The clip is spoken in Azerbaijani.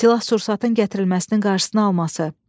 Silah-sursatın gətirilməsinin qarşısını alması.